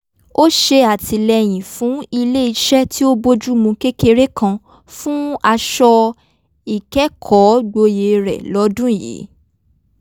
ó ṣè àtìlẹyìn fún ilé is̩é̩ tí ó bójúmu kékeré kan fún aṣọ ìkẹ́kọ̀ógboyè rẹ̀ lọ́dún yìí